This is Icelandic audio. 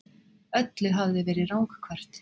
Öllu hafði verið ranghverft.